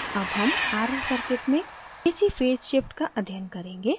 ac हम rl circuit में ac phase shift का अध्ययन करेंगे